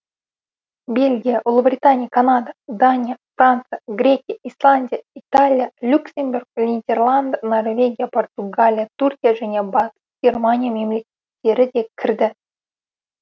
бельгия ұлыбритания канада дания франция грекия исландия италия люксембург нидерланд норвегия португалия түркия және батыс германия мемлекеттері кірді